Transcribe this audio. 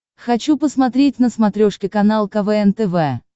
хочу посмотреть на смотрешке канал квн тв